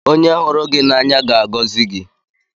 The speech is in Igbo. Onye hụrụ gị n'anya ga-agọzi gị.